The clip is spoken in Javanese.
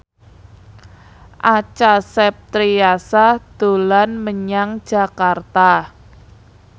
Acha Septriasa dolan menyang Jakarta